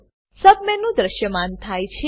સબમેનું submenu દ્રશ્યમાન થાય છે